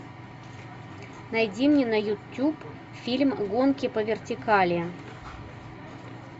найди мне на ютуб фильм гонки по вертикали